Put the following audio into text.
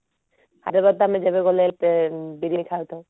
ହାଇଦ୍ରାବାଦ ତ ଆମେ ଯେବେ ଗଲେ ବିରିୟାନୀ ଖାଇଥାଉ